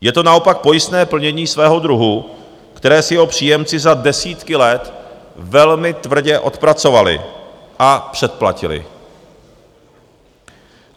Je to naopak pojistné plnění svého druhu, které si jeho příjemci za desítky let velmi tvrdě odpracovali a předplatili.